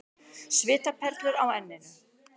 Svitaperlur á enninu.